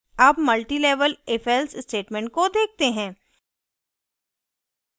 अब multilevel ifelse statement को देखते हैं